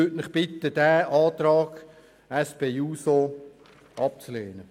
Ich bitte den Rat, diesen Antrag der SP-JUSO-PSA abzulehnen.